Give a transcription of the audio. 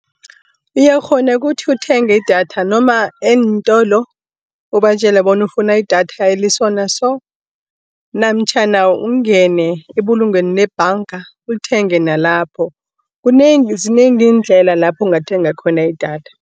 Uyakghona kuthi uthenge idatha noma eentolo, ubatjela bona ufuna idatha eli-so na-so, namtjhana ungene ebulungwenilnebhanga ulithenge nalapho. Kunengi zinengi iindlela lapho ungathenga khona idatha.